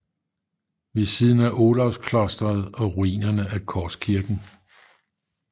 Ved siden af Olavsklosteret og ruinerne af Korskirken